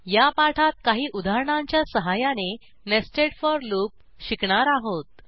या पाठात काही उदाहरणांच्या सहाय्याने नेस्टेड फोर लूप शिकणार आहोत